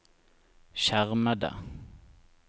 skjermede